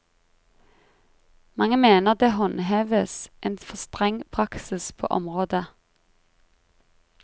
Mange mener det håndheves en for streng praksis på området.